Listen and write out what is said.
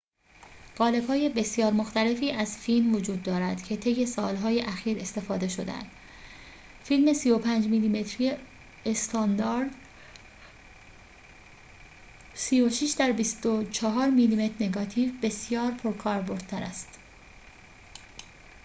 قالب‌های بسیار مختلفی از فیلم وجود دارد که طی سال‌های اخیر استفاده شده‌اند. فیلم 35 میلی‌متری استاندارد 36 در 24 میلی‌متر نگاتیو بسیار پرکاربردتر است